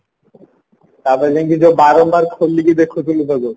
ତାପରେ ନେଇକି ଯୋଉ ବରଣ୍ଡାରେ ଖୋଲିକି ଦେଖୁଥିଲୁ ସବୁ